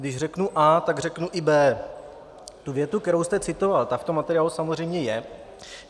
Když řeknu A, tak řeknu i B. Ta věta, kterou jste citoval, ta v tom materiálu samozřejmě je.